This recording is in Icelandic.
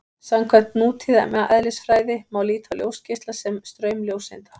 Samkvæmt nútíma eðlisfræði má líta á ljósgeisla sem straum ljóseinda.